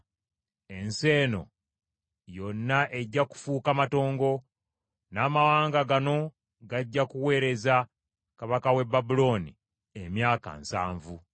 Ensi eno yonna ejja kufuuka matongo, n’amawanga gano gajja kuweereza kabaka w’e Babulooni emyaka nsanvu.